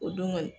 O don kɔni